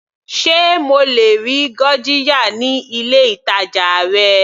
Sé mo lè rí gurjiya ní ilé ìtàjà rẹ.